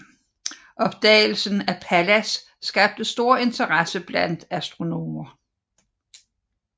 Opdagelsen af Pallas skabte stor interesse blandt astronomer